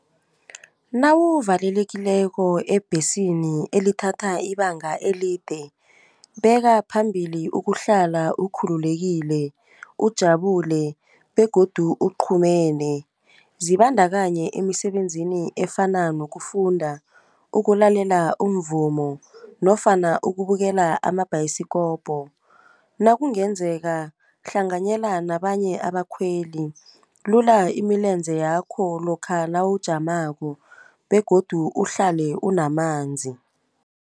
Nawuvalelekileko ebhesini elithatha ibanga elide bekaphambili ukuhlala ukhululekile, ujabulile begodu kuqhumene. Zibandakanya emisebenzini efana nokufunda, ukulalela umvumo nofana ukubukela amabhayisikopo. Nakungenzeka hlanganyela nabanye abakhweli, lula imilenze yakho lokha nawujamako begodu uhlale unamanzi.